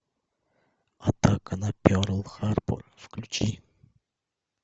атака на перл харбор включи